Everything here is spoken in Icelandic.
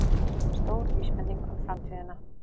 Stór vísbending um framtíðina